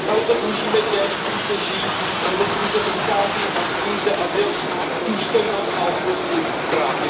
Tady to dlužíme těm, kteří zde žijí anebo kteří sem přicházejí a chtějí zde azyl, důstojnost a ochranu svých lidských práv.